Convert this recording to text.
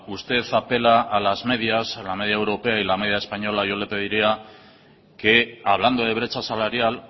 usted apela a las medias a la media europea y la media española yo le pediría que hablando de brecha salarial